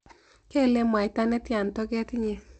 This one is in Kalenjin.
Keile mwaita netya toket inye?